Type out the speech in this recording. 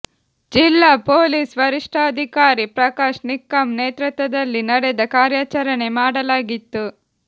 ಜಿಲ್ಲಾ ಪೊಲೀಸ್ ವರಿಷ್ಠಾಧಿಕಾರಿ ಪ್ರಕಾಶ್ ನಿಕ್ಕಂ ನೇತೃತ್ವದಲ್ಲಿ ನಡೆದ ಕಾರ್ಯಚಾರಣೆ ಮಾಡಲಾಗಿತ್ತು